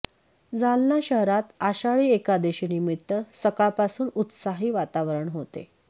जालना शहरात आषाढी एकादशी निमित्त सकाळपासून उत्साही वातावरण होते